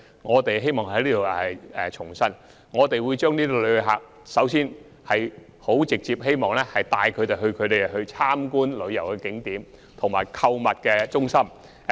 我希望在此重申，我們首先是希望把旅客直接帶往旅遊景點及購物中心。